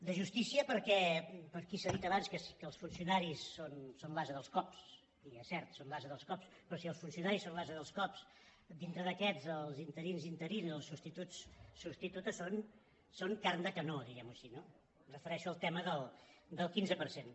de justícia perquè per aquí s’ha dit abans que els funcionaris són l’ase dels cops i és cert són l’ase dels cops però si els funcionaris són l’ase dels cops dintre d’aquests els interins interines els substituts substitutes són carn de canó diguem·ho així no em refereixo al tema del quinze per cent